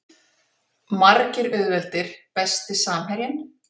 Margir auðveldir Besti samherjinn?